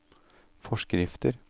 forskrifter